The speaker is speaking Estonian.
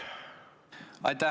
Aitäh!